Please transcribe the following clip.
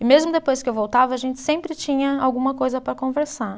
E mesmo depois que eu voltava, a gente sempre tinha alguma coisa para conversar.